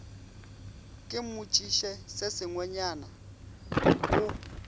ke mmotšiše se sengwenyana o